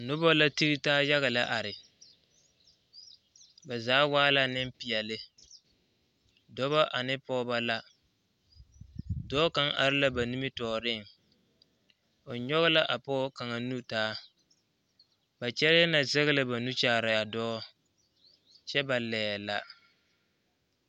Noba la tige taa yaga lɛ are ba zaa waa la nimpeɛle dɔba ane Pɔgeba la dɔɔ kaŋa are la ba nimitɔɔriŋ o nyɔge la a pɔge kaŋa nu taa ba kyɛlɛɛ na zɛge la ba nu kyaare a dɔɔ kyɛ ba laɛ la.